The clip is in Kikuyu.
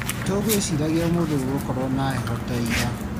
Tũgũĩciragia ũmũthĩ gũgũkorwo na heho ta ira